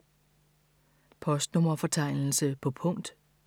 Postnummerfortegnelse på punkt